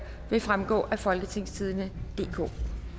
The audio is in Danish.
vil fremgå af folketingstidende DK